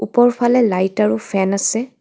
ওপৰফালে লাইট আৰু ফেন আছে.